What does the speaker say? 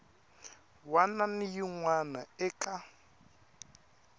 wana na yin wana eka